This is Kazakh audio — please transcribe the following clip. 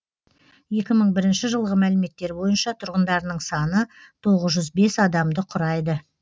екі мың бірінші жылғы мәліметтер бойынша тұрғындарының саны тоғыз жүз бес адамды құрайды